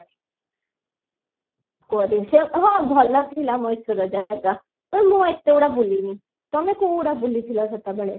ହଁ ଭଲ ଥିଲା ମଏଶ୍ଵରର ଜାଗା ମୁଁ ଏତେ ଗୁଡ ବୁଲିଣି ତମେ କୋଉଗୁଡା ବୁଲିଥିଲା ସେତେବେଳେ